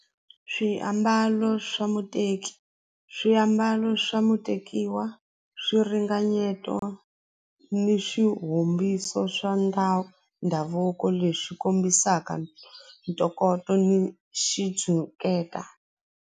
Swiambalo swa muteki swiambalo swa mutekiwa swiringanyeto ni swirhumbiso swa ndhawu ndhavuko lexi kombisaka ntokoto ni xitshuketa.